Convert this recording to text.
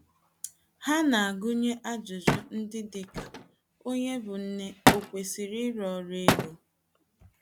Ha na - agụnye ajụjụ ndị dị ka: Onye bụ́ nne ò kwesịrị ịrụ ọrụ ego?